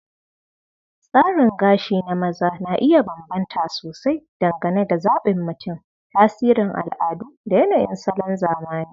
Tsarin gashi na maza na iya bambanta sosai dangane da zabin mutum, tasirin al'adu, da yanayin salon zamani.